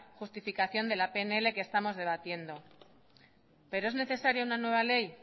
justificación de la pnl que estamos debatiendo pero es necesaria una nueva ley